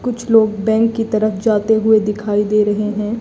कुछ लोग बैंक की तरफ जाते हुए दिखाई दे रहे हैं।